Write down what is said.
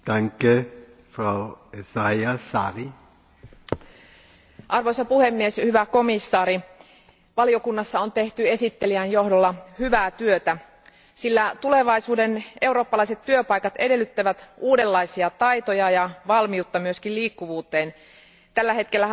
Arvoisa puhemies, arvoisa komission jäsen, valiokunnassa on tehty esittelijän johdolla hyvää työtä, sillä tulevaisuuden eurooppalaiset työpaikat edellyttävät uudenlaisia taitoja ja valmiutta myös liikkuvuuteen. Tällä hetkellähän vain noin hieman yli kaksi prosenttia meistä eurooppalaisista asuu